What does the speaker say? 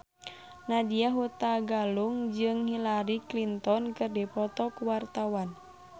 Nadya Hutagalung jeung Hillary Clinton keur dipoto ku wartawan